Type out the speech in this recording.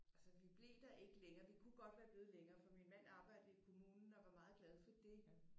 Altså vi blev der ikke længere vi kunne godt være blevet længere for min mand arbejdede i kommunen og var meget glad for det